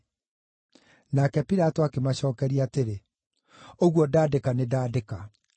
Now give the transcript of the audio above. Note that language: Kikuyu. Nake Pilato akĩmacookeria atĩrĩ, “Ũguo ndandĩka nĩndandĩka.”